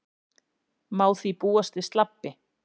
Má því búast við slabbi